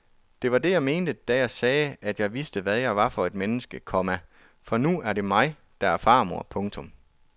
Det var det jeg mente da jeg sagde at jeg vidste hvad jeg var for et menneske, komma for nu er det mig der er farmor. punktum